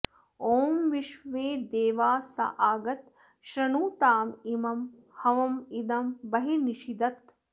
ॐ विश्वेदेवा स आगत श्रृणुताम इम ँ हवम् इदं बर्हिन्निषीदत